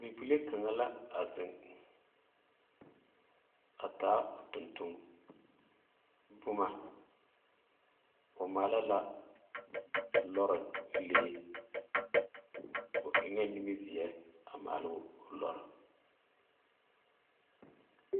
Bibilee kaŋa a zeŋ a taa o tontonboma o maale la lɔre bilee o eŋee nimizeɛ maale o lɔre